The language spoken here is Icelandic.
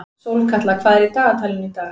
Sólkatla, hvað er í dagatalinu í dag?